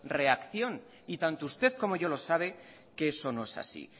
reacción y tanto usted como yo lo sabe que eso no es así